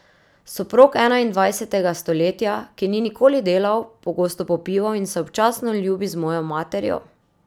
Soprog enaindvajsetega stoletja, ki ni nikoli delal, pogosto popiva in se občasno ljubi z mojo materjo.